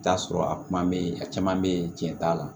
I bi t'a sɔrɔ a kuma be yen a caman be yen tiɲɛ t'a la